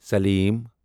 Salim